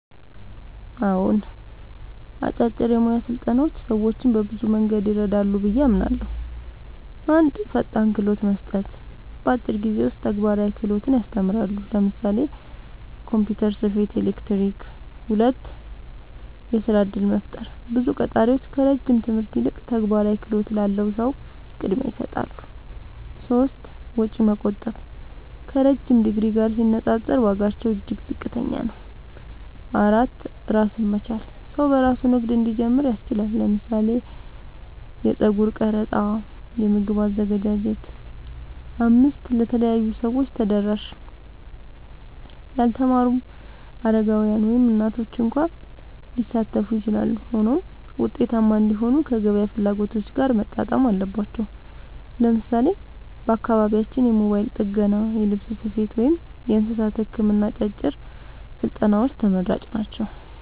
አዎን፣ አጫጭር የሙያ ስልጠናዎች ሰዎችን በብዙ መንገድ ይረዳሉ ብዬ አምናለሁ፦ 1. ፈጣን ክህሎት መስጠት – በአጭር ጊዜ ውስጥ ተግባራዊ ክህሎት ያስተምራሉ (ለምሳሌ ኮምፒውተር፣ ስፌት፣ ኤሌክትሪክ)። 2. የሥራ እድል መፍጠር – ብዙ ቀጣሪዎች ከረጅም ትምህርት ይልቅ ተግባራዊ ክህሎት ላለው ሰው ቅድሚያ ይሰጣሉ። 3. ወጪ መቆጠብ – ከረዥም ዲግሪ ጋር ሲነጻጸር ዋጋቸው እጅግ ዝቅተኛ ነው። 4. ራስን መቻል – ሰው በራሱ ንግድ እንዲጀምር ያስችላል (ለምሳሌ የጸጉር ቀረጻ፣ የምግብ አዘገጃጀት)። 5. ለተለያዩ ሰዎች ተደራሽ – ያልተማሩ፣ አረጋውያን፣ ወይም እናቶች እንኳ ሊሳተፉ ይችላሉ። ሆኖም ውጤታማ እንዲሆኑ ከገበያ ፍላጎት ጋር መጣጣም አለባቸው። ለምሳሌ በአካባቢያችን የሞባይል ጥገና፣ የልብስ ስፌት፣ ወይም የእንስሳት ሕክምና አጫጭር ስልጠናዎች ተመራጭ ናቸው።